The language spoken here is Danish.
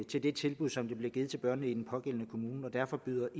de tilbud som der bliver givet til børnene i kommunen og derfor byder